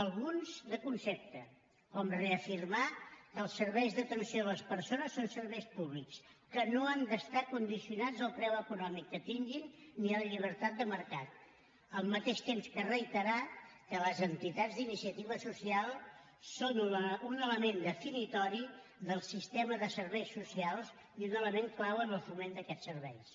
alguns de concepte com reafirmar que els serveis d’atenció a les persones són serveis públics que no han d’estar condicionats al preu econòmic que tinguin ni a la llibertat de mercat al mateix temps que reiterar que les entitats d’iniciativa social són un element definitori del sistema de serveis socials i un element clau en el foment d’aquests serveis